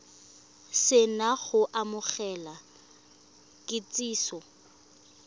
se na go amogela kitsiso